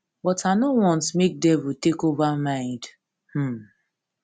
but i no want make devil take over mind um